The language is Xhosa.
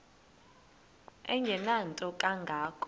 engenanto kanga ko